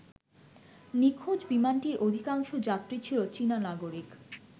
নিখোঁজ বিমানটির অধিকাংশ যাত্রী ছিল চীনা নাগরিক।